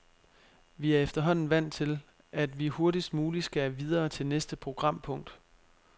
Vi er efterhånden vant til, at vi hurtigst muligt skal videre til næste programpunkt.